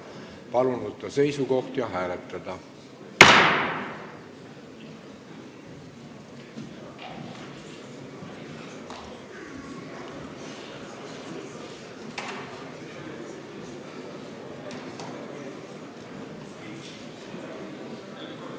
Palun võtta seisukoht ja hääletada!